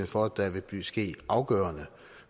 for at der vil ske afgørende